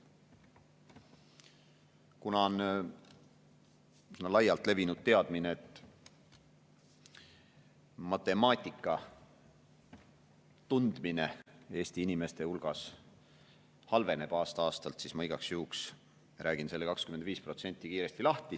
Kuna on laialt levinud teadmine, et matemaatika tundmine Eesti inimeste hulgas aasta-aastalt halveneb, siis ma igaks juhuks räägin selle 25% kiiresti lahti.